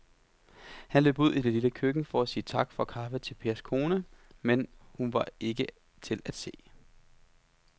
Han løb ud i det lille køkken for at sige tak for kaffe til Pers kone, men hun var ikke til at se.